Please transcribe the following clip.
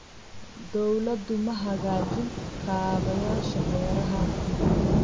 Dawladdu ma hagaajin kaabayaasha beeraha.